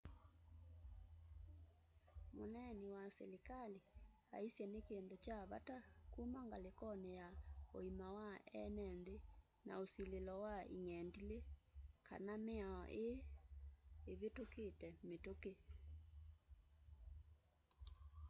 mneeni wa selikali aisye ni kindu cha vata kũma ngalikoni ya uima wa eene nthi na ũsililo wa ĩng'endilĩ kana miao ii ivitukitye mitũki